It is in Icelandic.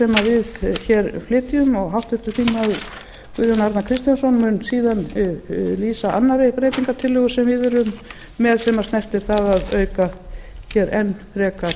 sem við hér flytjum og háttvirtir þingmenn guðjón arnar kristjánsson mun síðan lýsa annarri breytingartillögu sem við erum með sem snertir það að auka hér enn frekar